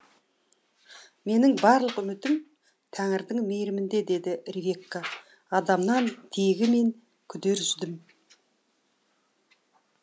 менің барлық үмітім тәңірдің мейірімінде деді ревекка адамнан тегі мен күдер үздім